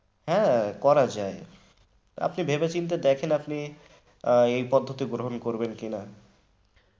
হ্যাঁ করা যায় আপনি ভেবেচিন্তে দেখেন আপনি আহ এই পদ্ধতি গ্রহণ করবেন কিনা?